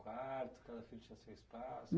Quarto, cada filho tinha seu espaço?